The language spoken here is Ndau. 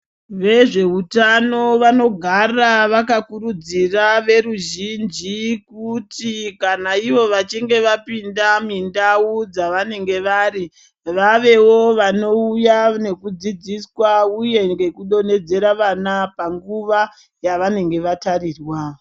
Vezveutano vanogara vakakurudzira veruzhinji kuti kana ivo vachinge vapinda mindau dzavanenge vari vavewo vanouya nekudzidziswa uyewo ngekudonhedzera vana munguva yavanenge vatarirwa.